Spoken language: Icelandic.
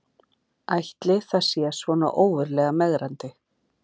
Ætli það sé svona ógurlega megrandi